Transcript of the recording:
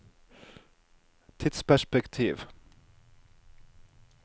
tidsperspektiv